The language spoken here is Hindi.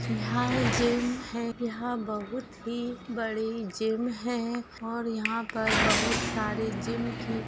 यहाँ जिम है यहाँ बोहुत ही बड़ी जिम है और यहाँ पर बोहुत सारी जिम की --